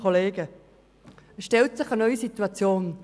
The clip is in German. Es stellt sich eine neue Situation: